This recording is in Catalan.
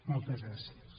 moltes gràcies